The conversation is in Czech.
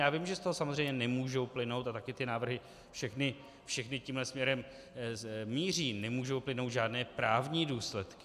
Já vím že z toho samozřejmě nemůžou plynout, a taky ty návrhy všechny tímhle směrem míří, nemůžou plynout žádné právní důsledky.